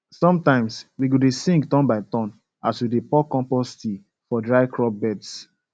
sometimes we go dey sing turn by turn as we dey pour compost tea for dry crop beds